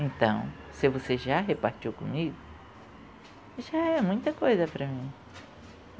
Então, se você já repartiu comigo, já é muita coisa para mim.